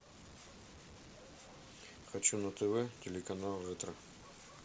хочу на тв телеканал ретро